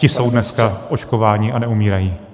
Ti jsou dneska očkováni a neumírají.